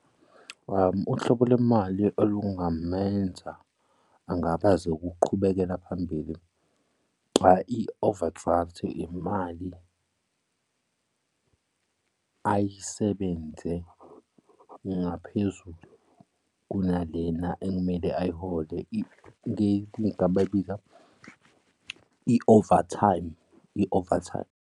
Uhlobo lemali olungamenza angabaze ukuqhubekela phambili i-overdraft imali ayisebenze ngaphezulu kunalena ekumele ayiholile, igama elika i-overtime, i-overtime.